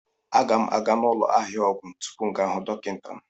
A ga m aga n'ụlọ ahịa ọgwụ tupu m gaa hụ dọkịta m